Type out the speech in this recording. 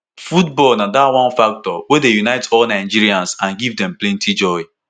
"football na dat one factor wey dey unite all nigerians and give dem plenti joy.